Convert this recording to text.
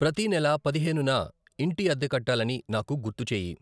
ప్రతీ నెల పదిహేనున ఇంటి అద్దె కట్టాలని నాకు గుర్తు చేయి.